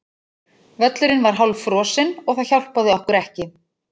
Völlurinn var hálffrosinn og það hjálpaði okkur ekki.